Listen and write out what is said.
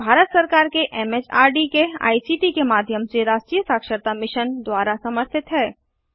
यह भारत सरकार एमएचआरडी के आईसीटी के माध्यम से राष्ट्रीय साक्षरता मिशन द्वारा समर्थित है